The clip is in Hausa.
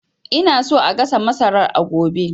Ina so a gasa masarar a gobe